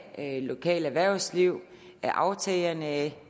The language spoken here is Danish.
lokale erhvervsliv af aftagerne af